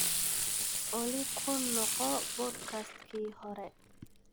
olly ku noqo podcast-kii hore